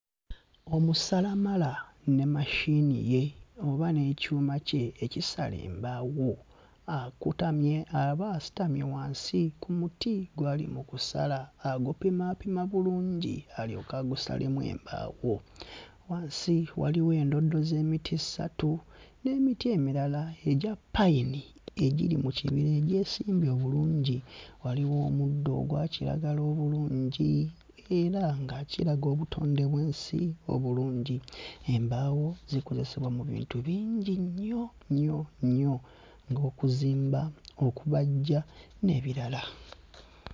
Omusalamala ne machine ye oba n'ekyuma kye ekisala embaawo. Akutamye, aba asitamye wansi ku muti gw'ali mu kusala. Agupimaapima bulungi alyoke agusalemu embaawo. Wansi waliwo endoddo z'emiti ssatu, n'emiti emirala egya pine egiri mu kibira egyesimbye obulungi. Waliwo omuddo ogwa kiragala obulungi era nga kiraga obutonde bw'ensi obulungi. Embaawo zikozesebwa mu bintu bingi nnyo nnyo nnyo ng'okuzimba, okubajja, n'ebirala.